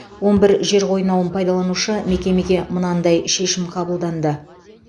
он бір жер қойнауын пайдаланушы мекемеге мынадай шешім қабылданды